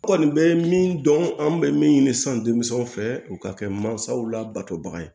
Kɔni bɛ min dɔn an bɛ min ɲini san deli fɛ u ka kɛ mansaw la batobaga ye